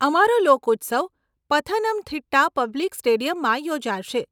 અમારો લોક ઉત્સવ પથનમથિટ્ટા પબ્લિક સ્ટેડિયમમાં યોજાશે.